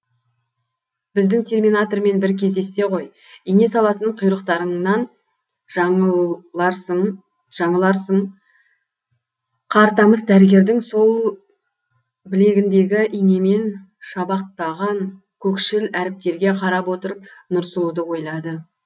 біздің терминатормен бір кездессе ғой ине салатын құйрықтарыңнан жаңыларсың қартамыс дәрігердің сол білегіндегі инемен шабақтаған көкшіл әріптерге қарап отырып нұрсұлуды ойлады